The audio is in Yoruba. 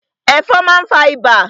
Ẹ̀fọn má n fa ibà.